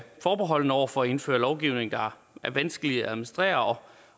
forbeholden over for at indføre lovgivning der er vanskelig at administrere